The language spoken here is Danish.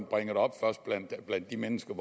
bringer det op blandt de mennesker